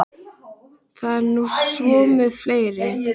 Það er nú svo með fleiri.